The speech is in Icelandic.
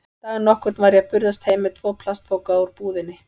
Dag nokkurn var ég að burðast heim með tvo plastpoka úr búðinni.